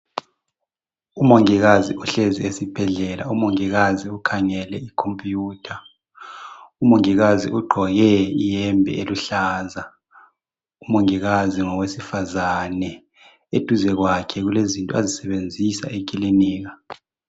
Umongikazi uhlezi esibhedlela. Umongikazi ukhangele ikhompiyutha. Umongikazi ugqoke iyembe eluhlaza. Umongikazi ngowesifazane. Eduze kwakhe kulezinto azisebenzisa ekilinika.